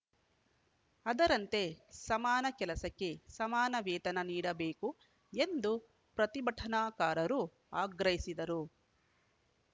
ಅದರಂತೆ ಸಮಾನ ಕೆಲಸಕ್ಕೆ ಸಮಾನ ವೇತನ ನೀಡಬೇಕು ಎಂದು ಪ್ರತಿಭಟನಾಕಾರರು ಆಗ್ರಹಿಸಿದರು